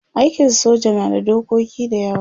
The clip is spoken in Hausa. aikin soja na da dokoki da yawa